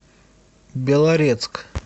белорецк